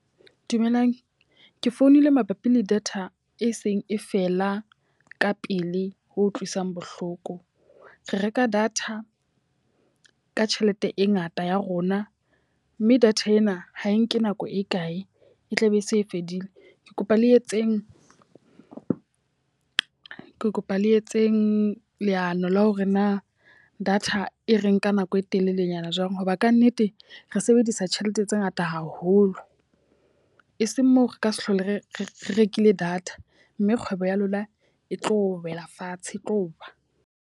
Dumelang, ke founile mabapi le data e seng e fela ka pele ho utlwisang bohloko. Re reka data ka tjhelete e ngata ya rona, mme data ena ha e nke nako e kae e tlabe e se e fedile. Ke kopa le etseng ke kopa le etseng leano la hore na data e re nka ka nako e telelenyana jwang. Ho ba ka nnete re sebedisa tjhelete tse ngata haholo. E seng moo re ka se hlole re rekile data mme kgwebo ya lona e tlo wela fatshe, e tlowa.